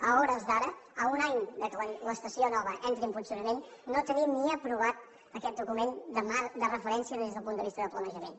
a hores d’ara a un any que l’estació nova entri en funcionament no tenim ni aprovat aquest document marc de referència des del punt de vista de planejament